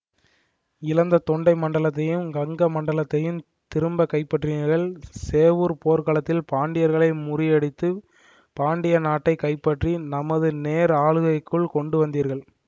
இழந்த தொண்டை மண்டலத்தையும் கங்க மண்டலத்தையும் திரும்பக் கைப்பற்றினீர்கள் சேவூர்ப் போர்க்களத்தில் பாண்டியர்களை முறியடித்துப் பாண்டிய நாட்டை கைப்பற்றி நமது நேர் ஆளுகைக்குள் கொண்டு வந்தீர்கள்